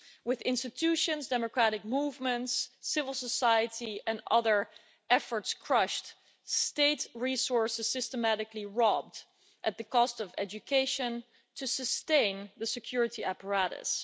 With institutions, democratic movements, civil society and other efforts crushed, state resources systematically robbed at the cost of education to sustain the security apparatus.